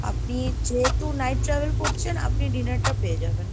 আপনি যেহেতু night travel করছেন, আপনি dinner টা পেয়ে যাবেন।